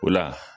O la